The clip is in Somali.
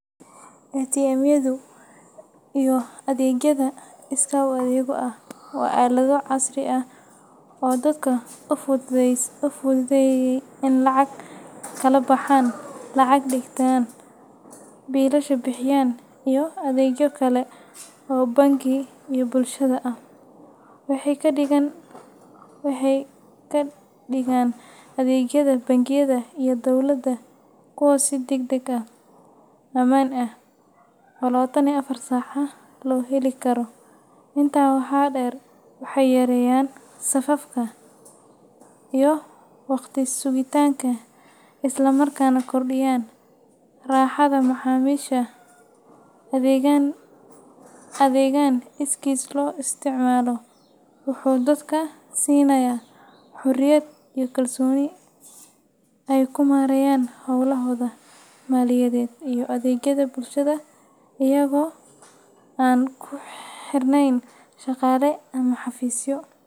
ATM-yadu iyo adeegyada iskaa-u-adeegga ah waa aalado casri ah oo dadka u fududeeya inay lacag kala baxaan, lacag dhigtaan, biilasha bixiyaan, iyo adeegyo kale oo bangi iyo bulshada ah. Waxay ka dhigaan adeegyada bangiyada iyo dowladda kuwo si degdeg ah, ammaan ah, oo lawatan iyo afar saac ah loo heli karo. Intaa waxaa dheer, waxay yareeyaan safafka iyo waqtiga sugitaanka, isla markaana kordhiyaan raaxada macaamiisha. Adeeggan iskiis loo isticmaalo wuxuu dadka siinayaa xorriyad iyo kalsooni ay ku maareeyaan howlahooda maaliyadeed iyo adeegyada bulshada iyaga oo aan ku xirnayn shaqaale ama xafiisyo.